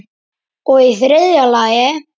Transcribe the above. Og í þriðja lagi.